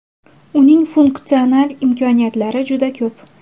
Uning funksional imkoniyatlari juda ko‘p.